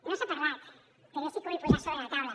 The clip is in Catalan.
no se n’ha parlat però jo sí que ho vull posar sobre la taula